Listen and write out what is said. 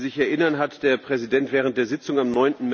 Wie Sie sich erinnern, hat der Präsident während der Sitzung am